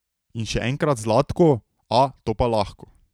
In še enkrat Zlatko: 'A, to pa lahko.